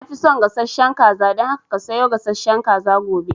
Na fi son gasashen kaza, dan haka ka sayo gasashen kaza gobe